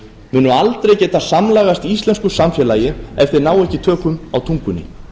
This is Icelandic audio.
munu aldrei geta samlagast íslensku samfélagi ef þeir ná ekki tökum á tungunni